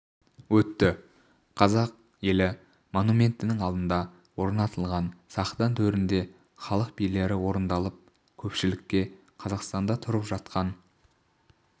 өтті қазақ елі монументінің алдында орнатылған сахна төрінде халық билері орындалып көпшілікке қазақстанда тұрып жатқан